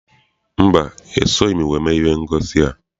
Mba, esoghị m wee mee ihe ngosi a.